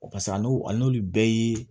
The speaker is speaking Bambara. a n'o a n'olu bɛɛ ye